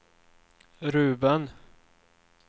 Ruben